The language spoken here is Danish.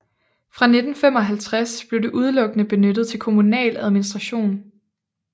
Fra 1955 blev det udelukkende benyttet til kommunal administration